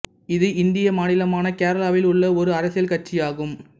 இது இந்திய மாநிலமான கேரளாவில் உள்ள ஒரு அரசியல் கட்சியாகும்